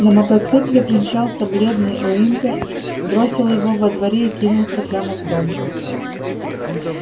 на мотоцикле примчался бледный уимпер бросил его во дворе и кинулся прямо в дом